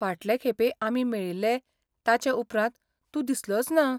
फाटले खेपे आमी मेळिल्ले ताचे उपरांत तूं दिसलोच ना.